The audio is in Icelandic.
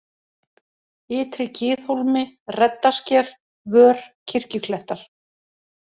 Ytri-Kiðhólmi, Reddasker, Vör, Kirkjuklettar